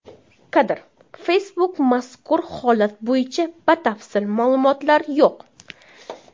Kadr: Facebook Mazkur holat bo‘yicha batafsil ma’lumotlar yo‘q.